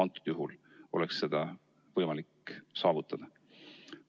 Seda oleks võimalik saavutada.